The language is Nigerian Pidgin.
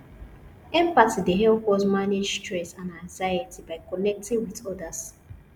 empathy dey help us to manage stress and anxiety by connecting with odas